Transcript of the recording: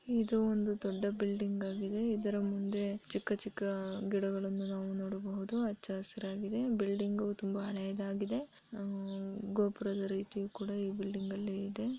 ಇದು ಒಂದು ದೊಡ್ಡ ಬಿಲ್ಡಿಂಗ್ ಆಗಿದೆ ಇದರ ಮುಂದೆ ಚಿಕ್ಕ ಚಿಕ್ಕ ಗಿಡಗಳ್ಳನ್ನು ನಾವು ನೋಡಬಹುದು ಹಚ್ಚಹಸಿರಾಗಿದೆ ಬಿಲ್ಡಿಂಗು ತುಂಬಾ ಹಳೆಯದಾಗಿದೆ ಅಹ್ ಗೋಪುರದ ರೀತಿ ಕೂಡ ಈ ರೀತಿ ಇ ಬಿಲ್ಡಿಂಗ್ ಅಲ್ಲಿ ಇದೆ.